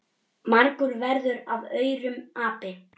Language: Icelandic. Margur verður af aurum api.